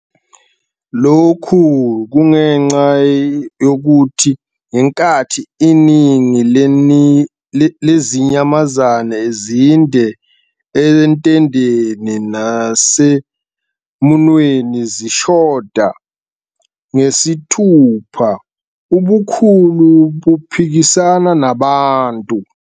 Lokhu kungenxa yokuthi ngenkathi "iningi lezinyamazane zinde entendeni nasemunweni zishoda ngesithupha", ubukhulu buphikisana nabantu.